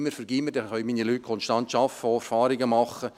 Dann können meine Leute konstant arbeiten und Erfahrungen machen.